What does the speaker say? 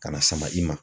Ka na sama i ma